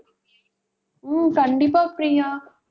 ஹம் கண்டிப்பா பிரியா.